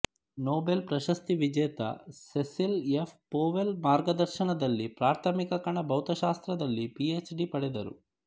Nobel ಪ್ರಶಸ್ತಿ ವಿಜೇತ Cecil F Powell ಮಾರ್ಗದರ್ಶನದಲ್ಲಿ ಪ್ರಾಥಮಿಕ ಕಣ ಭೌತಶಾಸ್ತ್ರದಲ್ಲಿ ಪಿಎಚ್ಡಿ ಪಡೆದರು